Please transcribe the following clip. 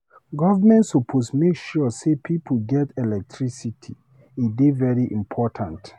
Government suppose make sure sey people get electricity, e dey very important.